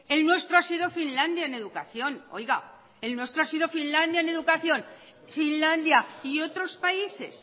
el nuestro ha sido finlandia en educación finlandia y otros países